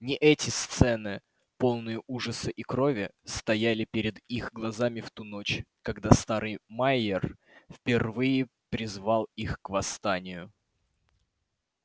не эти сцены полные ужаса и крови стояли перед их глазами в ту ночь когда старый майер впервые призвал их к восстанию